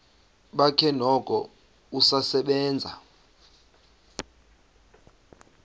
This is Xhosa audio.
bakhe noko usasebenza